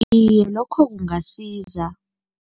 Iye, lokho kungasiza.